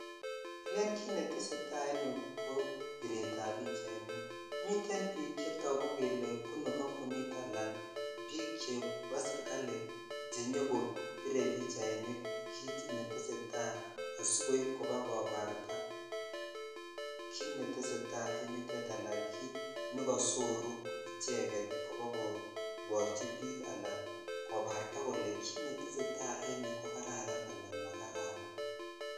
Wle kit netesetai en yuu ko biretmiten bik ab pachachainik miten bik chetogu bunu kobunit nebo serkali chenyokobiree bichainik kit netesetai asikoip kobakobarta kit netesetai ala kit nekosoruu icheget kobakoborchi bik ala kobsrta kole kit netesetai en yuu kokararan ara makararan.